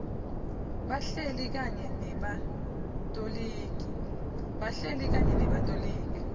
bahleli kanye nebatoligi